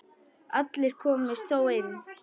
Allir komust þó inn.